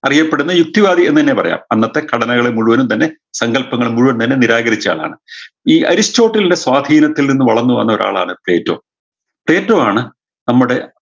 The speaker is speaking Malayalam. അറിയപ്പെടുന്ന യുക്തിവാദി എന്ന് തന്നെ പറയാം അന്നത്തെ ഘടനകളെ മുഴുവനും തന്നെ സങ്കൽപ്പങ്ങൾ മുഴുവനും തന്നെ നിരാകരിച്ച ആളാണ് ഈ അരിസ്റ്റോട്ടിൽൻറെ സ്വാധീനത്തിൽ വളർന്നു വന്ന ഒരാളാണ് തേറ്റോ തെറ്റോവാണ് നമ്മുടെ